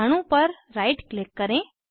अणु पर right click करें